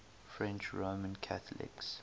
french roman catholics